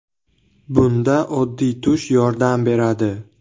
Bunda oddiy tush yordam beradi.